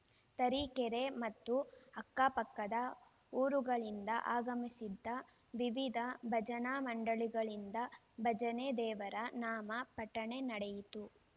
ತರೀಕೆರೆ ಮತ್ತು ಅಕ್ಕಪಕ್ಕದ ಊರುಗಳಿಂದ ಆಗಮಿಸಿದ್ದ ವಿವಿಧ ಭಜನಾ ಮಂಡಳಿಗಳಿಂದ ಭಜನೆ ದೇವರ ನಾಮ ಪಠಣೆ ನಡೆಯಿತು